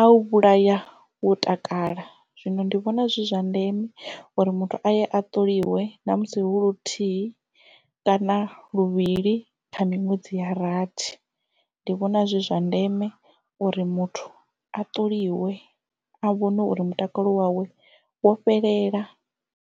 a u vhulaya wo takala zwino ndi vhona zwi zwa ndeme uri muthu aye a ṱoliwe na musi hu luthihi kana luvhili kha miṅwedzi ya rathi ndi vhona zwi zwa ndeme uri muthu a ṱoliwe a vhone uri mutakalo wawe wo fhelela.